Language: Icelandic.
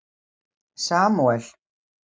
Samúel